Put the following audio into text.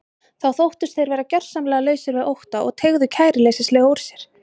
Þá þóttust þeir vera gjörsamlega lausir við ótta og teygðu kæruleysislega úr sér.